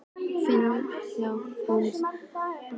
Ég finn hjarta hans slá við olnbogann á mér.